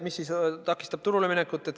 Mis takistab turule minekut?